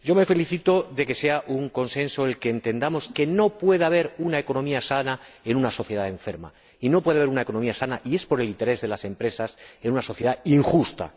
Me felicito de nuestro consenso en que no puede haber una economía sana en una sociedad enferma, y no puede haber una economía sana, y es por el interés de las empresas, en una sociedad injusta.